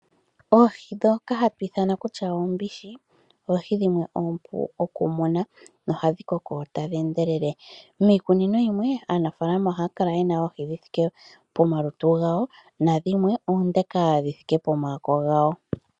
Oohi dhoka hadhi ithamwa kutya oombishi, oohi dhimwe oompu okumuna nohadhi koko tadhi endelele. Miikunino yimwe aanafaalama oha kala yena oohi dhithike pomalutu gawo, nandhimwe oondeka dhithike pomaako gawo.